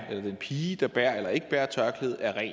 eller den pige der bærer eller ikke bærer tørklæde er ren